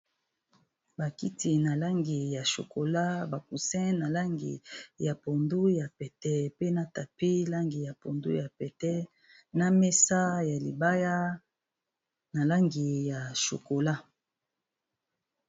Bakiti na langi ya chukola bacusi na langi ya pondu ya pete pe na tapi langi ya pondu ya pete na mesa ya libaya na langi ya chukola.